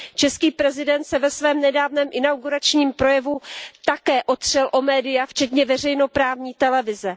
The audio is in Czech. Český prezident se ve svém nedávném inauguračním projevu také otřel o média, včetně veřejnoprávní televize.